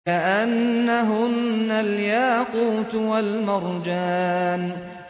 كَأَنَّهُنَّ الْيَاقُوتُ وَالْمَرْجَانُ